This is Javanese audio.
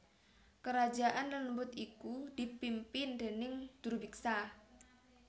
Kerajaan lelembut iku dipimpin déning Drubiksa